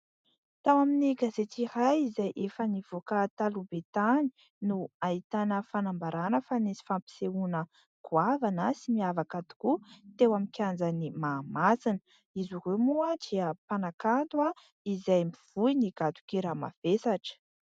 Tao amin'ny gazety iray izay efa nivoaka taloha be tany no ahitana fanambarana fa nisy fampisehoana goavana sady niavaka tokoa teo amin'ny kianjan'i Mahamasina. Izy ireo moa dia mpanakanto mivoy ny gadon-kira mavesatra.